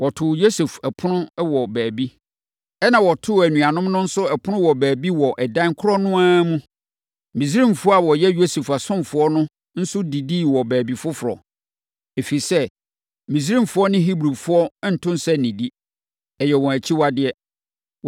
Wɔtoo Yosef ɛpono wɔ baabi, ɛnna wɔtoo anuanom no nso ɛpono wɔ baabi wɔ ɛdan korɔ no ara mu. Misraimfoɔ a wɔyɛ Yosef asomfoɔ no nso didii wɔ baabi foforɔ, ɛfiri sɛ, Misraimfoɔ ne Hebrifoɔ nto nsa nnidi, ɛyɛ wɔn akyiwadeɛ.